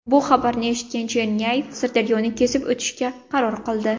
Bu xabarni eshitgan Chernyayev Sirdaryoni kesib o‘tishga qaror qildi.